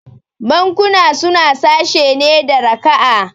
Bankuna suna sashe ne da raka'a